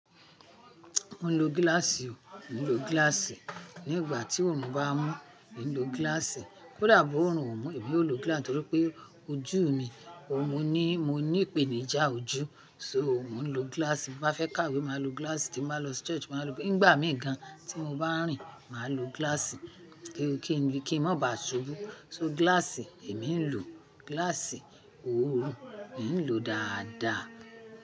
Mo ń lo gíláàsì o, mo ń lo gíláàsì. Ní ìgbà tí òórùn bá mú, mi n lo gíláàsì. Kódà bó òórùn ò mú, èmi ó lo gíláàsì nítorí pé ojú mi, o jú ní mo ní ìpènijà ojú. So ò mo ń lo gíláàsì. Bí mo bá fẹ́ kàwé máa lo gíláàsì, tí n bá lọ di ṣọ́ọ̀ṣì máa lo gíláàsì. Nígbà mì gan tí mo bá n rìn, máa lo gíláàsì kí n mọ́ bá ṣubú. So gíláàsì, èmi ń lo gíláàsì mi ń lo dáadáa.